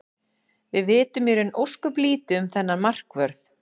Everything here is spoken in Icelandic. Við vitum í raun ósköp lítið um þennan markvörð.